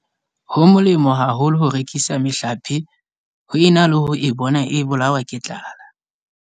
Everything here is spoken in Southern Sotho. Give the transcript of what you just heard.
Ho molemo haholo ho rekisa mehlape ho ena le ho e bona e bolawa ke tlala.